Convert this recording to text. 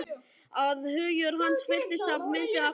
Að hugur hans fylltist myndum af henni.